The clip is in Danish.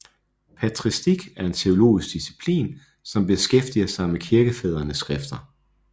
Patristik er en teologisk disciplin som beskæftiger sig med kirkefædrenes skrifter